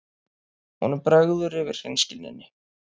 Honum bregður yfir hreinskilninni.